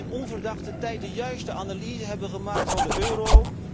De Britten die in onverdachte tijden de juiste analyse hebben gemaakt van de euro.